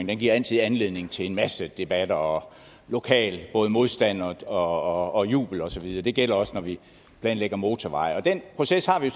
den giver altid anledning til en masse debat og lokalt både modstand og jubel og så videre det gælder også når vi planlægger motorveje den proces har vi